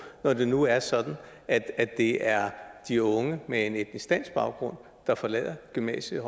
når det nu er sådan at det er de unge med en etnisk dansk baggrund der forlader gymnasiet